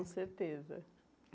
Com certeza.